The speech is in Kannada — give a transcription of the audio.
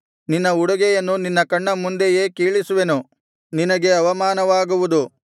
ನಿನ್ನ ಉಡುಗೆಯನ್ನು ನಿನ್ನ ಕಣ್ಣಮುಂದೆಯೇ ಕೀಳಿಸುವೆನು ನಿನಗೆ ಅವಮಾನವಾಗುವುದು